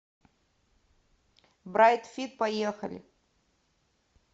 брайт фит поехали